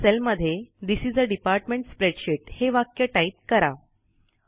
एका सेलमध्ये this is a department spreadsheet हे वाक्य टाईप करा